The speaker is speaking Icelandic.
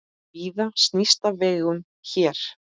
Víða snýst á vegum hér.